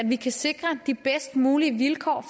vi kan sikre de bedst mulige vilkår